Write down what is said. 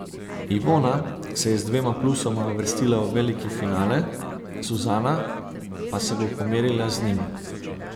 Ivona se je z dvema plusoma uvrstila v veliki finale, Suzana pa se bo pomerila z njim.